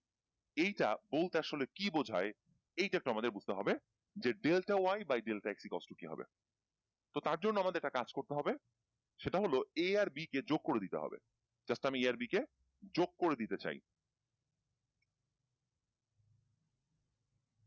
এইটা বলতে আসলে কি বোঝায়? এইটা একটু আমাদের বুঝতে হবে যে delta y by delta x is equal to কি হবে? তো তার জন্য আমাদের একটা কাজ করতে হবে সেটা হল a আর b কে যোগ করে দিতে হবে just আমি a আর b কে যোগ করে দিতে চাই।